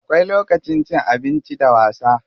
Akwai lokacin cin abinci da wasa.